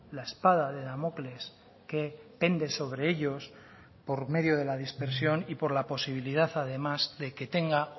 la espada de damocles que pende sobre ellos por medio de la dispersión y por la posibilidad además de que tenga